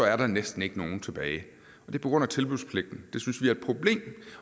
er der næsten ikke nogen tilbage det er på grund af tilbudspligten